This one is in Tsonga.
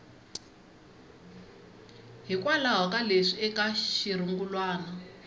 hikwalaho ka leswi eka xirungulwana